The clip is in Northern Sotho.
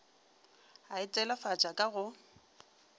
a e telefatša ka go